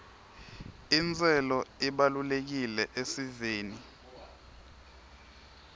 intselo ibalulekile esiveni